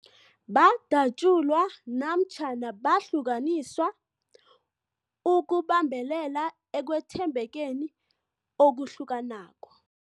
Badatjulwa namatjhana bahlukaniswa ukubambelela ekwethembekeni okuhlukanako.